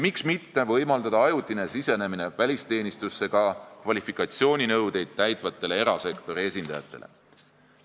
Miks mitte võimaldada ajutist sisenemist välisteenistusse ka kvalifikatsiooninõudeid täitvatele erasektori esindajatele?